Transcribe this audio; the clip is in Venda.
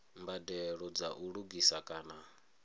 mbadelo dza u lugisa kana